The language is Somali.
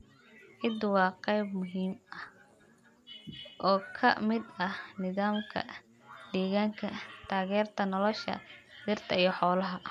Ciiddu waa qayb muhiim ah oo ka mid ah nidaamka deegaanka, taageerta nolosha dhirta iyo xoolaha.